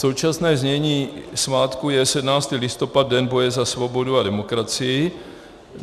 Současné znění svátku je 17. listopad - Den boje za svobodu a demokracii.